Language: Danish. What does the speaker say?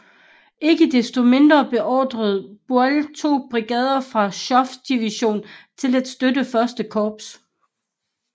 Ikke desto mindre beordrede Buell to brigader fra Schoepfs division til at støtte I Korps